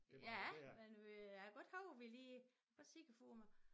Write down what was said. Ja men vi jeg kan godt huske vi lige godt se det for mig